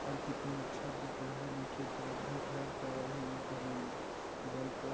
घर कितना अच्छा दिख रहा है नीचे तरफ भी घर का भी और ऊपर बल्ब --